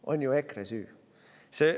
–, on ju EKRE süü.